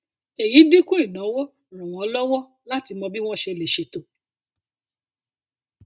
èyí dínkù ìnáwó ràn wọn lọwọ láti mọ bí wọn ṣe lè ṣètò